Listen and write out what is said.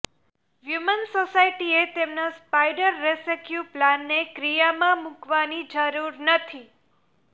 human સોસાયટીએ તેમના spider rescue પ્લાનને ક્રિયામાં મૂકવાની જરૂર નથી